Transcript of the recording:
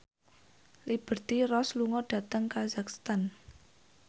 Liberty Ross lunga dhateng kazakhstan